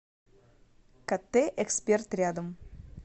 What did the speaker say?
кт эксперт рядом